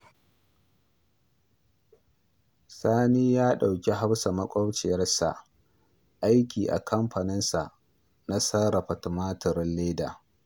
Sani ya ɗauki Hafsa maƙwabciyarsa aiki a kanfanin sa na sarrafa tumatirin leda